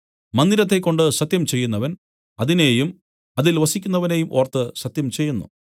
മന്ദിരത്തെക്കൊണ്ട് സത്യം ചെയ്യുന്നവൻ അതിനെയും അതിൽ വസിക്കുന്നവനെയും ഓർത്ത് സത്യം ചെയ്യുന്നു